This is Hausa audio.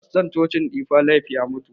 Faston cocin difa laif ya mutu.